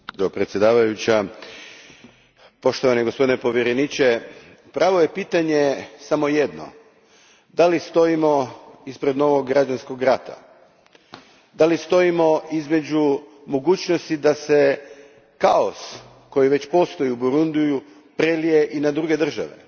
Gospođo predsjednice, poštovani gospodine povjereniče, pravo je pitanje samo jedno stojimo li ispred novog građanskog rata? Stojimo li ispred mogućnosti da se kaos, koji već postoji u Burundiju, prelije i na druge države?